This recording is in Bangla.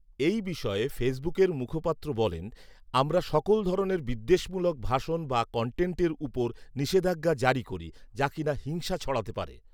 এই বিষয়ে ফেসবুকের মুখপাত্র বলেন, 'আমরা সকল ধরনের বিদ্বেষমূলক ভাষণ বা কনটেন্টের উপর নিষেধআজ্ঞা জারি করি যা কি না হিংসা ছড়াতে পারে